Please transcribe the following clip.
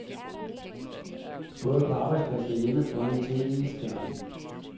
Både på arbejdspladsen og hjemme foran tv-skærmen.